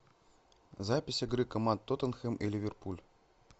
запись игры команд тоттенхэм и ливерпуль